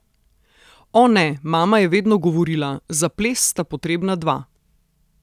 O ne, mama je vedno govorila: 'Za ples sta potrebna dva.